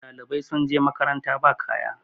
ɗalibai sun je makaranta ba kaya